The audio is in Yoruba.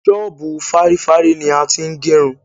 ṣọbu fárîfárí ni a ti ń gerun